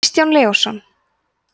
kristján leósson